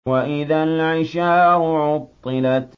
وَإِذَا الْعِشَارُ عُطِّلَتْ